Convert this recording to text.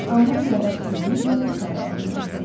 Amma yavaş üzür və butaya yaxınlaşır.